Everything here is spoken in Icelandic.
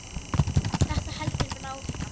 Þetta heldur bara áfram.